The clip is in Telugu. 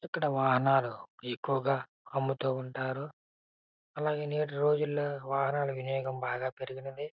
ఇక్కడ ఎక్కువగా అమ్ముతూ ఉంటారు. అలగే నేటి రోజుల్లో వాన వాహనాలకి రేటు బాగా పెరిగింది.